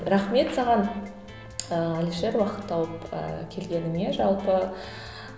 рахмет саған ыыы әлішер уақыт тауып ыыы келгеніңе жалпы